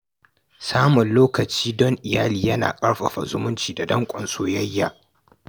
Samun lokaci don iyali yana ƙarfafa zumunci da danƙon soyayya.